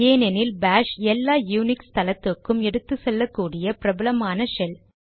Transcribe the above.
ஏனெனில் பாஷ் எல்லா யூனிக்ஸ் தளத்துக்கும் எடுத்துச்செல்லக் கூடிய பிரபலமான ஷெல்